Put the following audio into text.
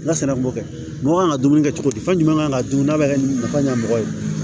N'a sera n b'o kɛ mɔgɔ kan ka dumuni kɛ cogo di fɛn jumɛn kan ka dun n'a bɛ kɛ mɔgɔ ɲɛ mɔgɔ ye